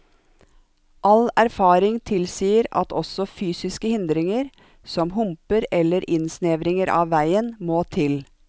All erfaring tilsier at også fysiske hindringer, som humper eller innsnevringer av veien, må til.